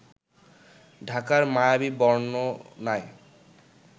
ঢাকার মায়াবী বর্ণনায়